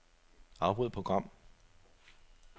Afbryd program.